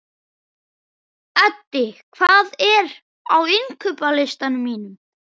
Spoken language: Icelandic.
Eddi, hvað er á innkaupalistanum mínum?